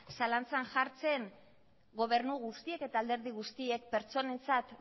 zalantzan jartzen gobernu guztiek eta alderdi guztiek pertsonentzat